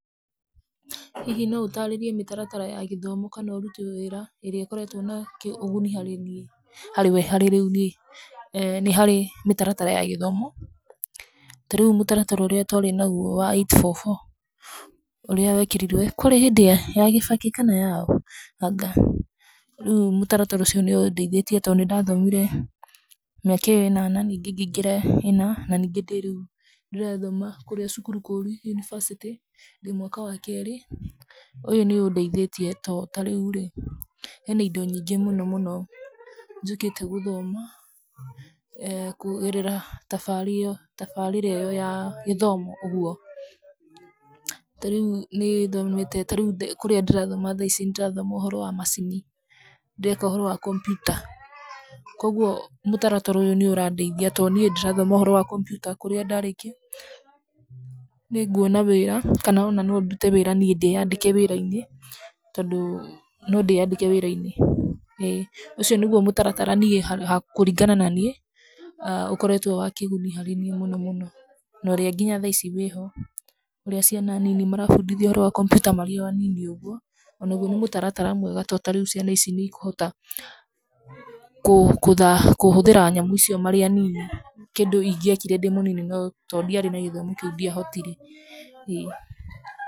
Hihi no ũtaarĩrie mĩtaratara ya gĩthomo kana ũruti wĩra ĩrĩa ĩkoretwo na ũguni harĩ niĩ? harĩ wee harĩ rĩu niĩ, eeh nĩharĩ mĩtaratara ya gĩthomo, tarĩu mútaratara ũrĩa twarĩ naguo wa 8-4-4, ũrĩa wekĩrirwo kũrĩ hĩndĩ ya gĩbakĩ kana yarĩ yaũ? anga, rĩu mũtaratara ũcio nĩũndeithĩtie to nĩndathomire mĩaka ĩyo ĩnana na ningĩ ngĩingĩra ĩna na ningĩ ndĩ rĩu ndĩrathoma kũrĩa cukuru kũu yunibacĩtĩ, ndĩ mwaka wa kerĩ, ũyũ nĩũndeithĩtie to tarĩu rĩ, hena indo nyingĩ mũno mũno, njũkĩte gũthoma, kũgerera tabarĩa tabarĩra ĩyo ya gĩthomo, ũguo, tarĩu nĩthomete, tarĩu kũrĩa ndĩrathoma tha ici nĩndĩrathoma ũhoro wa macini, ndĩreka ũhoro wa computer koguo, mũtaratara ũyũ nĩũrandeithia to niĩ ndĩrathoma ũhoro wa computer kũrĩa ndarĩkia, nĩnguona wĩra, kanona nondute wĩra niĩ ndĩyandĩke wĩra-inĩ, tondũ nondĩyandĩke wĩra-inĩ, ĩ ũcio nĩguo mũtaratara niĩ ha kũringana na niĩ aah ũkoretwo wa kĩguni harĩ niĩ mũno mũno, narĩ nginya thaici wĩho, ũria ciana nini marabundithio ũhoro wa computer marĩ o anini ũguo, onaguo nĩ mũtaratara mwega to tarĩu ciana ici niikũhota, kũ kũtha, kũhũthĩra nyamũ icio marĩ anini, kĩndũ ingĩekire ndĩ mũnini no, tondiarĩ nagĩthomo kĩu ndiahotire.